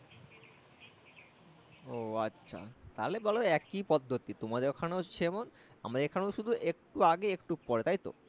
ও আচ্ছা তাহলে বলো একি পদ্ধতি তোমাদের ওখানেও যেমন আমাদের এখানে শুধু একটু আগে একটু পরে তাইতো